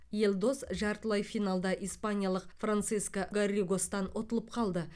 елдос жартылай финалда испаниялық франциско гарригостан ұтылып қалды